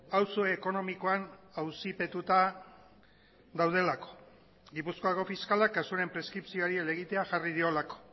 auzo ekonomikoan auzipetuta daudelako gipuzkoako fiskala kasuaren preskripzioari helegitea jarri diolako